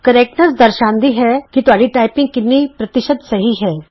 ਸ਼ੁੱਧਤਾ ਦਰਸਾਂਦੀ ਹੈ ਕਿ ਤੁਹਾਡੀ ਟਾਈਪਿੰਗ ਕਿੰਨੀ ਪ੍ਰਤੀਸ਼ਤ ਸਹੀ ਹੈ